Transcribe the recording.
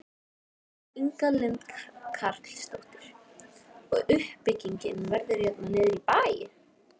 Inga Lind Karlsdóttir: Og uppbyggingin verður hérna niðri í bæ?